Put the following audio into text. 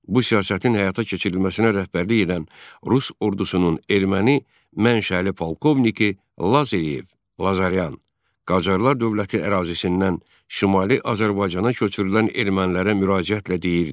Bu siyasətin həyata keçirilməsinə rəhbərlik edən Rus ordusunun erməni mənşəli polkovniki Lazarev (Lazaryan) Qacarlar dövləti ərazisindən Şimali Azərbaycana köçürülən ermənilərə müraciətlə deyirdi: